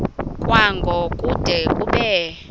kwango kude kube